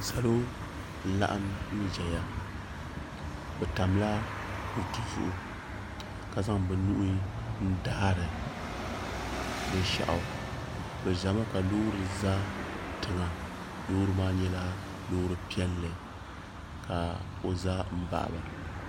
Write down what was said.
Salo n laɣim n zaya bɛ tamla kuriti zuɣu ka zaŋ bɛ nuhi n daarili binshaɣu bɛ zami ka Loori kuli za tiŋa loori maa nyɛla loori piɛlli ka o za m baɣiba.